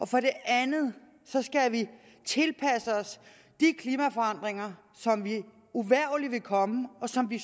for det andet skal vi tilpasse os de klimaforandringer som uvægerligt vil komme og som vi